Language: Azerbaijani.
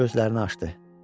Gözlərini açdı.